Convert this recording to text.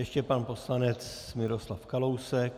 Ještě pan poslanec Miroslav Kalousek.